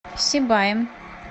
сибаем